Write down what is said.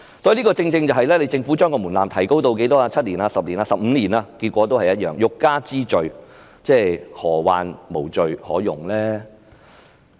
因此，即使政府將門檻提高至7年、10年或15年，結果也是一樣，欲加之罪，何患無罪可用呢？